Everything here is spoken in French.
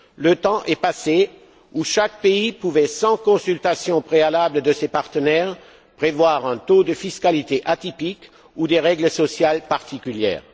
Le temps est passé où chaque pays pouvait, sans consultation préalable de ses partenaires, prévoir un taux de fiscalité atypique ou des règles sociales particulières.